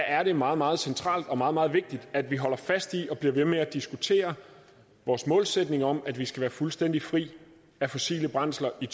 er det meget meget centralt og meget meget vigtigt at vi holder fast i og bliver ved med at diskutere vores målsætning om at vi skal være fuldstændig fri af fossile brændsler i